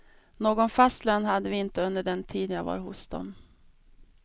Någon fast lön hade vi inte under den tid jag var hos dem.